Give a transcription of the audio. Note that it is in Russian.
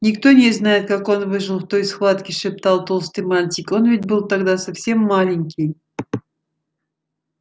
никто не знает как он выжил в той схватке шептал толстый мальчик он ведь был тогда совсем маленький